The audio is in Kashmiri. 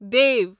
دیو